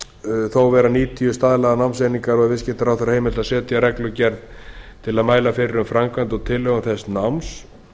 skulu þó vera níutíu staðlaðar námseiningar og er viðskiptaráðherra heimilt að setja reglugerð til að mæla fyrir um framkvæmd og tilhögun þess náms